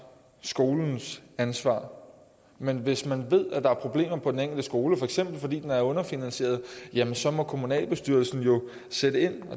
skolens ansvar men hvis man ved at der er problemer på den enkelte skole for eksempel fordi den er underfinansieret så må kommunalbestyrelsen sætte ind